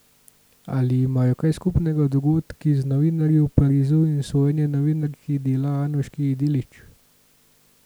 Ali imajo kaj skupnega dogodki z novinarji v Parizu in sojenje novinarki Dela Anuški Delić?